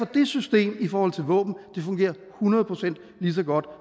det system i forhold til våben hundrede procent lige så godt